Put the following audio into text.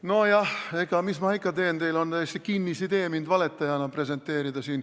No jah, mis ma ikka teen, teil on täielik kinnisidee mind siin valetajana presenteerida.